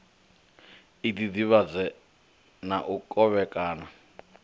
i ḓiḓivhadze na u kovhekana